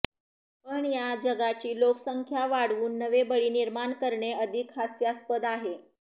पण या जगाची लोकसंख्या वाढवून नवे बळी निर्माण करणे अधिक हास्यास्पद आहे